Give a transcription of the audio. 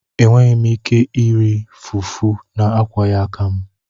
Enweghị m ike iri fufu na-akwọghị aka m.